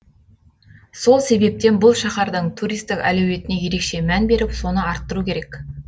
сол себептен бұл шаһардың туристік әлеуетіне ерекше мән беріп соны арттыру керек